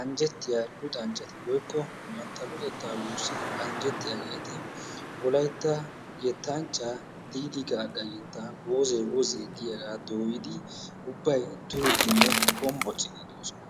anjjettiya luxanchchati/bantta luxettaa wurssidi anjjettiyageeti wolaytta yettanchchaa Diidi Gaagga yettaa wozee giyagaa dooyidi ubbay duriiddinne hombbociiddi doosona.